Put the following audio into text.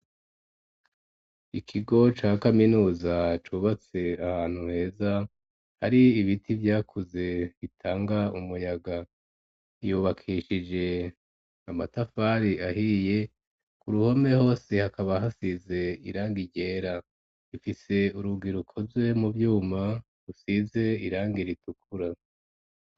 Ikigo ca kaminuza cubatse ahantu heza, hari ibiti vyakuze bitanga umuyaga, yubakishije amatafari ahiye, ku ruhome hose hakaba hasize irangi ryera, ifise urugi rukozwe mu vyuma rusize irangi ritukura.